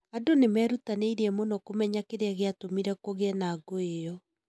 Andũ nĩ meerutanĩirie mũno kũmenya kĩrĩa gĩatũmĩre kũgĩe na ngũĩ ĩyo.